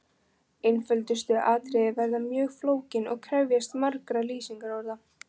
Einföldustu atriði verða mjög flókin og krefjast margra lýsingarorða.